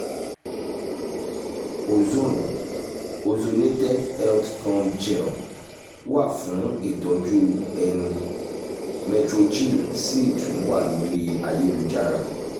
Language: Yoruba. ozone (ozonated health gum gel) wà fún ìtọ́jú ẹnu metrogyl sì tún wà lórí ayélujára